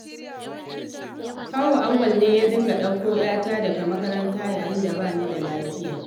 Kawu Auwal ne ya dinga ɗauko 'yata daga makaranta yayin da ba ni da lafiya.